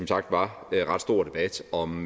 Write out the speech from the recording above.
sagt var ret stor debat om